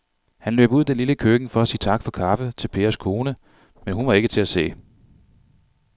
Han løb ud i det lille køkken for at sige tak for kaffe til Pers kone, men hun var ikke til at se.